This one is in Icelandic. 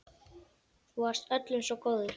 Þú varst öllum svo góður.